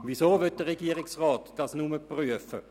Weshalb will der Regierungsrat dies nur prüfen?